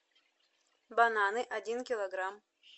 бананы один килограмм